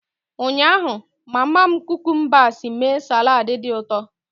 Ụnyaahụ, mama m cucumbers mee salad dị ụtọ